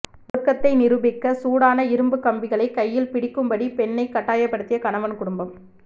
ஒழுக்கத்தை நிரூபிக்க சூடான இரும்புக் கம்பிகளைப் கையில் பிடிக்கும்படி பெண்ணை கட்டாயப்படுத்திய கணவன் குடும்பம்